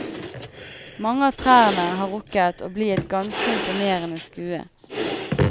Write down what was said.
Mange av trærne har rukket å bli et ganske imponerende skue.